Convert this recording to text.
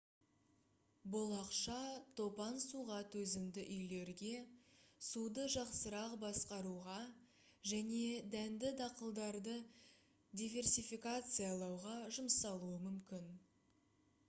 бұл ақша топан суға төзімді үйлерге суды жақсырақ басқаруға және дәнді дақылдарды диверсификациялауға жұмсалуы мүмкін